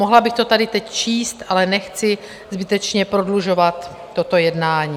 Mohla bych to tady teď číst, ale nechci zbytečně prodlužovat toto jednání.